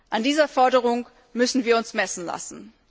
An dieser Forderung müssen wir uns messen lassen.